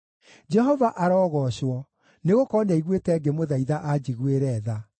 Jehova arogoocwo, nĩgũkorwo nĩaiguĩte ngĩmũthaitha anjiguĩre tha.